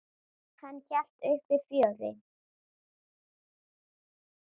Hann hélt uppi fjöri.